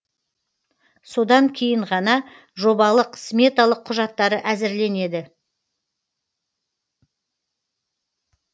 содан кейін ғана жобалық сметалық құжаттары әзірленеді